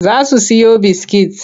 Za su siyo biskit.